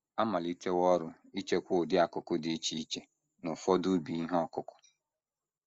A malitewo ọrụ ichekwa ụdị akụ́kụ́ dị iche iche n’ụfọdụ ubi ihe ọkụkụ.